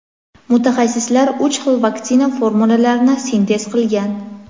Mutaxassislar uch xil vaksina formulalarini sintez qilgan.